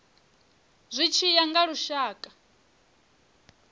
zwi tshi ya nga lushaka